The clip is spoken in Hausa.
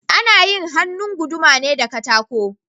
Ana yin hannun guduma ne da katako